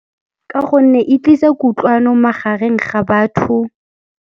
Ka gonne e tlisa kutlwano magareng ga batho.